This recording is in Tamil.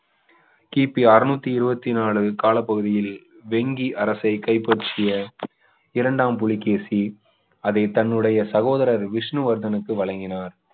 கிபி அறுநூற்று இருபத்தி நாலு காலப்பகுதியில் வெங்கி அரசை கைப்பற்றிய இரண்டாம் புலிகேசி அதை தன்னுடைய சகோதரர் விஷ்ணுவர்தனுக்கு வழங்கினார்